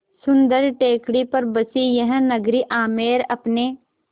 सुन्दर टेकड़ी पर बसी यह नगरी आमेर अपने